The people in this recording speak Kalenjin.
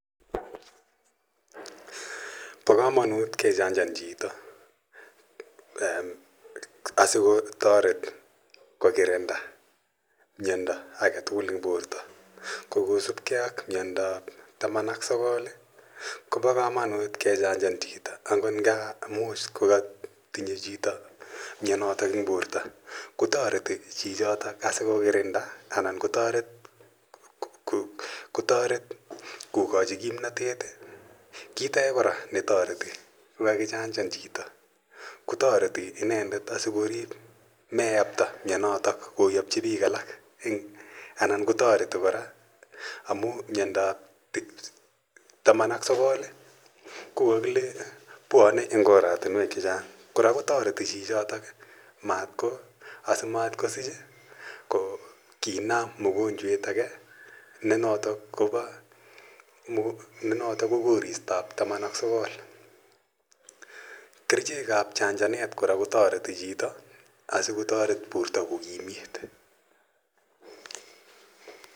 Po komanut kejachan chito asikotoret kogirinda myanda agetugul eng' porto kogosupkei ak myanda ab taman ak sogol kopa komanut kejachan chito akot nga amun siko katinye chito myanotok eng' porto kotoreti chichitok asikogirinda anan kotoret kogochi kimnatet, kiit age koraa netoreti ko kagijachan kotoreti inendet asikorip neyapta myanotok koyapchi piik alak anan kotoreti koraa amun myanda ab taman ak sogol ko kagile pwane eng oratinwok chechang' koraa kotoreti chichitok asimatkosich ko kiinam mogonjwet age ne notok ko Koristo ab taman ak sogol, kerchek ab jachanet koraa kotoreti chito asikotoret porto ko kimiit.